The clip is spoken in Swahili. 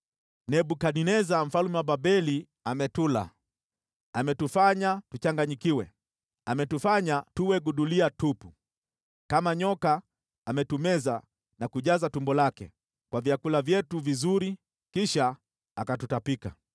“Nebukadneza mfalme wa Babeli ametula, ametufanya tuchangayikiwe, ametufanya tuwe gudulia tupu. Kama nyoka ametumeza na kujaza tumbo lake kwa vyakula vyetu vizuri, kisha akatutapika.